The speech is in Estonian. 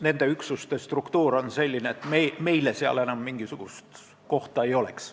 Nende üksuste struktuur on selline, et meile seal enam mingisugust kohta ei oleks.